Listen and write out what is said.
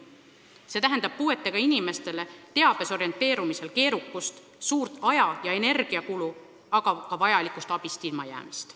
See tähendab puuetega inimestele teabes orienteerumisel keerukust, suurt aja- ja energiakulu, aga ka vajalikust abist ilmajäämist.